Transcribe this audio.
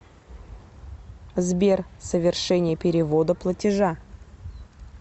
сбер совершение перевода платежа